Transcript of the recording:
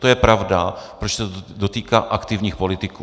To je pravda, protože se to dotýká aktivních politiků.